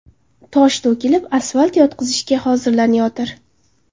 Tosh to‘kilib, asfalt yotqizishga hozirlanayotir.